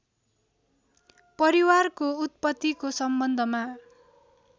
परिवारको उत्पत्तिको सम्बन्धमा